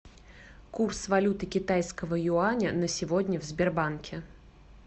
курс валюты китайского юаня на сегодня в сбербанке